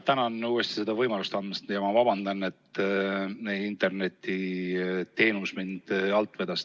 Tänan, et uuesti selle võimaluse andsite, ja vabandan, et internetiteenus mind alt vedas!